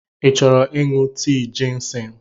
Ị chọrọ ịṅụ tii jịnsịng?